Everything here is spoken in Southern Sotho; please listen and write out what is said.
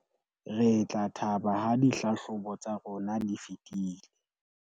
re tla thaba ha dihlahlobo tsa rona di fetile